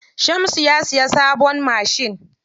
Shamsu ya siya sabon mashin.